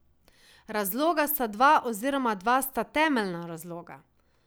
Razloga sta dva oziroma dva sta temeljna razloga.